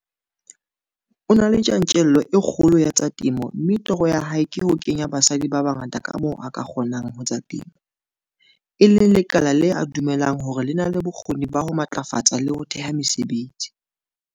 O na le tjantjello e kgolo ya tsa temo mme toro ya hae ke ho kenya basadi ba bangata ka moo a ka kgonang ho tsa temo, e leng lekala le a dumelang hore le na le bokgoni ba ho ba matlafatsa le ho theha mesebetsi.